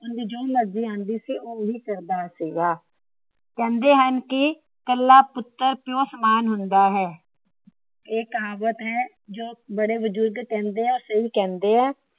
ਓਹੰਦੀ ਜੋ ਮਰਜ਼ੀ ਆਉਂਦੀ ਸੀ ਓਹੀ ਕਰਦਾ ਸੀਗਾ। ਕਹਿੰਦੇ ਹਨ ਕੀ ਕੱਲਾ ਪੁੱਤਰ ਪਿਓ ਸਮਾਨ ਹੁੰਦਾ ਹੈ। ਇਹ ਕਹਾਵਤ ਹੈ ਜੋ ਬੜੇ ਬਜ਼ੁਰਗ ਕਹਿੰਦੇ ਹੈ। ਸਹੀ ਕਹਿੰਦੇ ਹੈ।